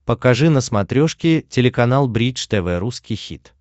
покажи на смотрешке телеканал бридж тв русский хит